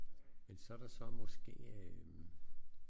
Men så der så måske øh